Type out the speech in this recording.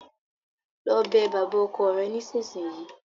Lọ bẹ bàbá ọkọ rẹ nísinsìnyí!